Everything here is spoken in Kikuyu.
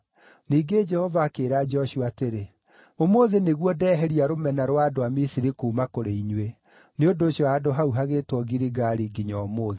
Ningĩ Jehova akĩĩra Joshua atĩrĩ, “Ũmũthĩ nĩguo ndeheria rũmena rwa andũ a Misiri kuuma kũrĩ inyuĩ.” Nĩ ũndũ ũcio handũ hau hagĩĩtwo Giligali nginya ũmũthĩ.